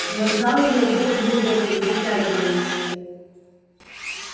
глаза у неё были глубокие затягивающие